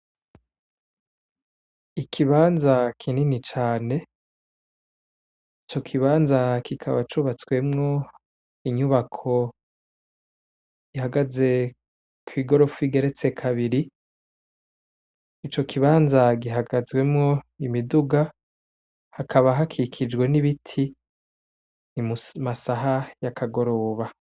Ikibanza kinini cane, ico kibanza kikaba cubatswemwo inyubako ihagaze kw'igorofa igeretse kabiri, ico kibanza gihagazwemwo imiduga, hakaba hakikijwe n'ibiti mu masaha y'akagoroba.